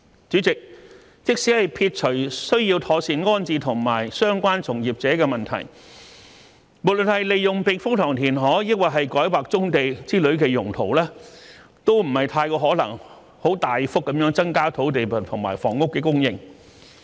主席，即使撇除需要妥善安置相關從業者的問題，無論是利用避風塘填海，還是改劃棕地之類的用途，都不太可能大幅增加土地和房屋供應。